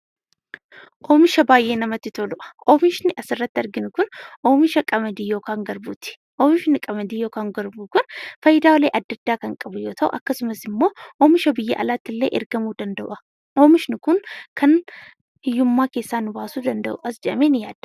Oomisha baay'ee namatti toludhaa. Oomishni asirratti arginu kun oomisha qamadii yookaan garbuuti. Oomishni qamadii yookaan garbuu kun fayidaalee adda addaa kan qabu yoo ta'u akkasumas immoo oomisha biyya alaatti illee ergamuu danda'u'a. Oomishni kun kan hiyyummaa keessaa nu baasuu danda'u'as je'amee ni yaadama.